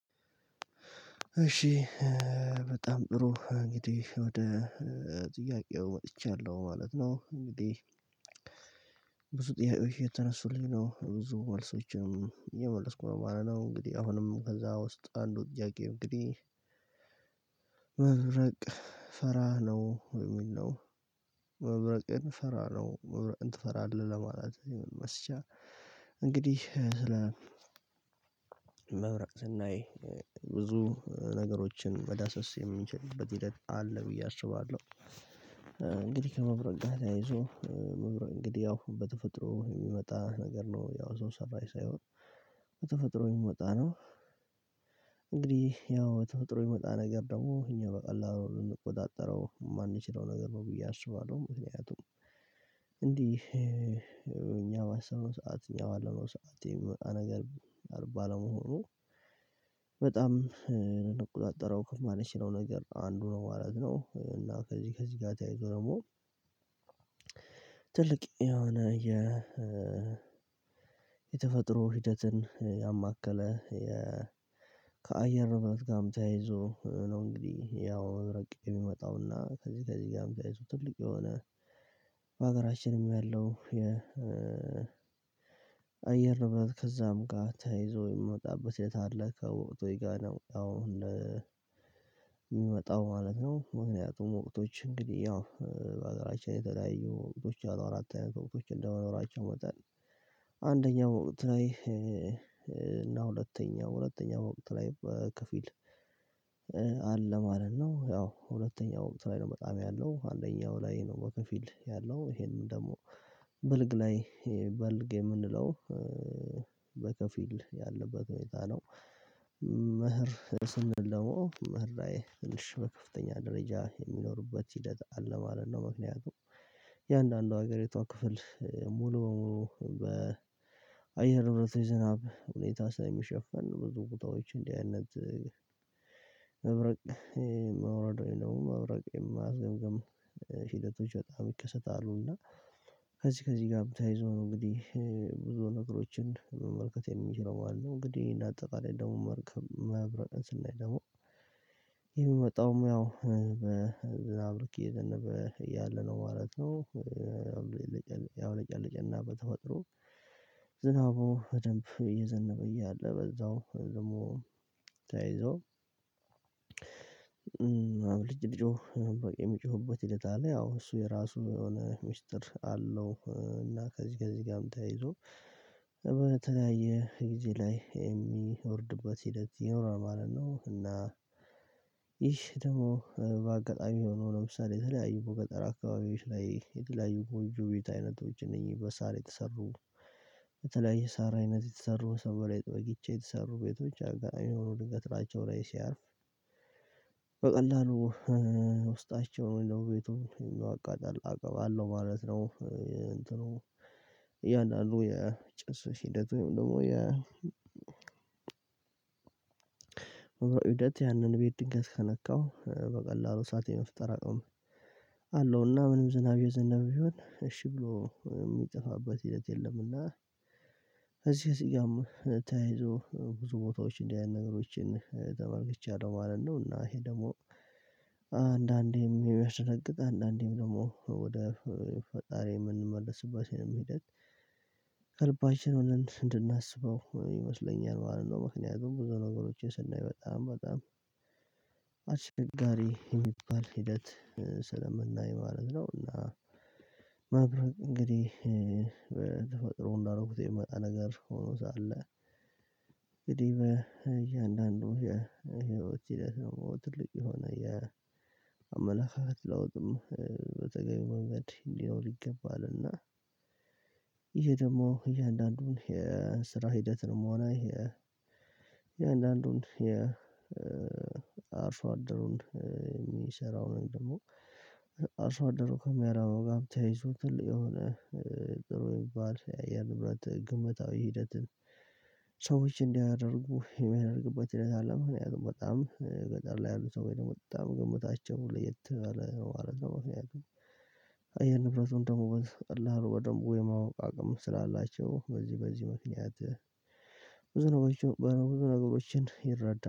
እሺ በጣም ጥሩ እንግዲህ ወደ ጥያቄው መጥቻለሁ ማለት ነው። እንግዲህ ብዙ ጥያዎች እየተነሱልኝ ነው ብዙ መልሶችም እየመለስኩ ነው ማለት ነው። እንግዲህ አሁንም ከዛ ውስጥ አንዱ ጥያቄ እንግዲህ መብረቅ ፈራ ነው ወይ የሚል ነው? መብረቅን ፈራ ነው መብረቅን ትፈራለህ ለማለት መስጫ። እንግዲህ ስለ መብራቅ ስናይ ብዙ ነገሮችን መዳሰስ የሚችልበት ሂደት አለ ብዬ አስባለሁ። እንግዲህ ከመብረቅ ጋር ተያይዞ መብረቅ እንግዲህ ያው በተፈጥሮ የሚመጣ ነገር ነው ያው ሰው ሰራሽ ሳይሆን በተፈጥሮ የሚመጣ ነው። እንግዲህ ያው በተፈጥሮ የሚመጣ ነገር ደግሞ እኛ በቀላሉ ልንቆጣጠረው የማንችለው ነገር ነው ብዬ አስባለሁ። ምክንያቱም እንዲህ እኛ ማሰብነው ሰዓት እኛ የማለነው ሰዓት የሚመጣ ነገር ባለመሆኑ በጣም እንቆጣጠረው ማንችለው ነው ነገር አንዱ ነው ማለት ነው። እና ከዚህ ከዚህ ጋር ተያይዞ ደግሞ ትልቅ የሆነ የ የተፈጥሮ ሂደትን ያማከለ ከአየር ንብረት ጋርም ተያይዞ ነው። እንግዲህ ያው መብረቅ የሚመጣውና ከዚህ ከዚህ ጋርም ተያይዞ ትልቅ የሆነ በሀገራችንም ያለው የ አየር ንብረት ከዛም ጋር ታይዞ የሚመጣበት የታለከው ወቅት ወይ ጋር ነው አሁን የሚመጣው ማለት ነው። ምክንያቱም ወቅቶች እንግዲህ ያው በአገራችን የተለያዩ ወቅቶች አሉ አራት አይነት ወቅቶች እንደመኖራቸው ይመጣል። አንደኛው ወቅት ላይ እና ሁለተኛው ሁለተኛው ወቅት ላይ በከፊል አለ ማለት ነው። ያው ሁለተኛው ወቅት ላይ ነው በጣም ያለው አንደኛው ላይ ነው በከፊል ያለው ይሄንን ደግሞ በልግ ላይ በልግ የምንለው በከፊል ያለበት ሁኔታ ነው። መኸር ስንል ደሞ መኸር ላይ ትንሽ በከፍተኛ ደረጃ የሚኖርበት ሂደት አለ ማለት ነው። ምክንያቱም እያንዳንዱ ሀገሪቷ ክፍል ሙሉ በሙሉ በአየር ንብረት ዝናብ ሁኔታ ስለሚሸፈን ብዙ ቁጣዎች እንዲህ አይነት መብረቅ መውረድ ወይም መብረቅ የማስገምገም ሂደቶች በጣም ይከሰታሉ እና ከዚህ ከዚህ ጋር ተያይዘው ነው። እንግዲህ ብዙ ነገሮችን መመልከት የምንችለው ማለት ነው። እንግዲህ እንዳጠቃላይ ደግሞ መርከብ ማብራቀን ስናይ ደግሞ የሚመጣውም ያው አብረኪ እየዘነበ ያለ ነው ማለት ነው። ያው እያብለጨለጨና በተፈጥሮ ዝናቡ በደንብ እየዘነበ እያለ በዛው ደግሞ ተይዞ ልጅ ሊጮህ በቃ የምጮህበት ሂደት አለ ያው እሱ የራሱ የሆነ ሚስጥር አለው። እና ከዚህ ጋር እዚህ ጋርም ተያይዞ በተለያየ ጊዜ ላይ የሚወርድበት ሂደት ይኖራል ማለት ነው። እና ይህ ደግሞ በአጋጣሚ የሆነው ለምሳሌ የተለያዩ ቦታ አካባቢዎች ላይ የተለያዩ ጎንጆ ቤት አይነቶች እነዚህ በሳር የተሰሩ በተለያዩ ሳር አይነት የተሰሩ ሰንበሌጥ በቂቻ የተሰሩ ቤቶች አጋሚ ሆኖ ልገትራቸው ላይ ሲያርፍ በቀላሉ ውስጣቸውን ወይም ደሞ ቤቱን ማቃጠል አቅም አለው ማለት ነው። እንትኑ እያንዳንዱ ያህል የጭስ ሂደት ወይም ደግሞ የ ሂደት ያንን ቤት ድንገት ከነካው በቀላሉ እሳት የመፍጠር አቅም አለውና ምንም ዝናብ የዘነበ ቢሆን እሺ ብሎ የሚጠፋበት ሂደት የለም። እና እዚህ እዚህ ጋር ተያይዞ ብዙ ቦታዎች እንደዚህ አይነት ነገሮችን ተመልክቻለሁ ማለት ነው። እና ይሄ ደግሞ አንዳንዴም የሚያስደነግጥ አንዳንዴም ደግሞ ወደ ፈጣሪ የምንመለስባቸው መሄድ ሆነን እንድናስበው ይመስለኛል ማለት ነው። ምክንያቱም ብዙ ነገሮችን ስናይ በጣም በጣም አስቸጋሪ የሚባል ሂደት ስለምናይ ማለት ነውና። እንግዲህ ተፈጥሮ እንዳደረጉት የሚመጣ ነገር ሆኖ ሳለ እንግዲህ እያንዳንዱ የህይወት ሂደት ነው ትልቅ የሆነ የአመላእክት ለውጥም በተገኘ መንገድ እንዲኖር ይገባልና። ይሄ ደግሞ የእያንዳንዱን የስራ ሂደትንም ሆነ የእያንዳንዱን የአርሶ አደሩን የሚሰራውን ደግሞ አርሶ አደሩ ከሚያደርገው ጋር የሆነ ጥሩ የሚባል የአየር ንብረት ግምታዊ ሂደትን ሰዎች እንዲያደርጉ የሚያደርግበት ሂደት አለ። ምክንያቱም በጣም ገጠር ላይ ያሉ ሰው ወይ ደግሞ በጣም ግምታቸውን ለየት ባለ ማለት ነው። አየር ንብረቱን ደግሞ በደንብ የማወቅ አቅም ስላላቸው በዚህ በዚህ ምክንያት ብዙ ነገሮችን በሆነ ብዙ ነገሮችን ይረዳል